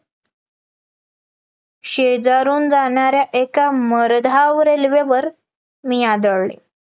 शेजारून जाणाऱ्या एका मरधाव रेल्वेवर मी आदळले